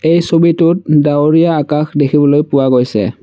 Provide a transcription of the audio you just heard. এই ছবিটোত ডাৱৰীয়া আকাশ দেখিবলৈ পোৱা গৈছে।